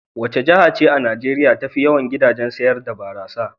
Wace jiha ce a Najeriya tafi yawan gidajen sayar da barasa?